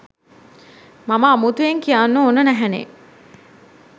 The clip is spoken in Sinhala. මම අමුතුවෙන් කියන්න ඕන නැහැනේ.